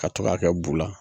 Ka to ga kɛ bu la